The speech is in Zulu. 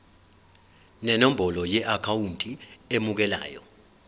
nenombolo yeakhawunti emukelayo